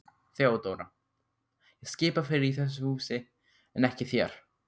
THEODÓRA: Ég skipa fyrir í þessu húsi en ekki þér.